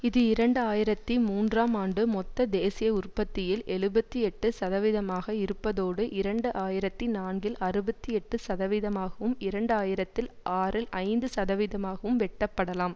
இது இரண்டு ஆயிரத்தி மூன்றாம் ஆண்டு மொத்த தேசிய உற்பத்தியில் எழுபத்தி எட்டு சதவீதமாக இருப்பதோடு இரண்டு ஆயிரத்தி நான்கில் அறுபத்தி எட்டு சதவீதமாகவும் இரண்டு ஆயிரத்தில் ஆறில் ஐந்து சதவீதமாகவும் வெட்டப்படலாம்